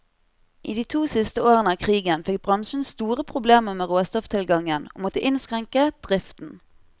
I de to siste årene av krigen fikk bransjen store problemer med råstofftilgangen, og måtte innskrenke driften.